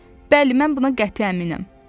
Bəli, mən buna qəti əminəm.